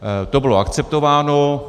To bylo akceptováno.